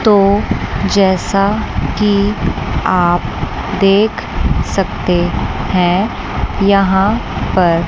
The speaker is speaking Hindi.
तो जैसा की आप देख सकते हैं यहां पर--